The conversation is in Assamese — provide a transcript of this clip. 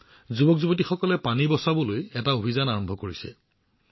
ইয়াত যুৱকযুৱতীসকলে পানী সংৰক্ষণ কৰিবলৈ এটা অভিযান আৰম্ভ কৰিছে